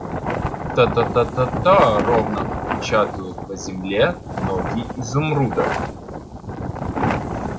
та-та-та-та ровно отпечатывают по земле ноги изумруда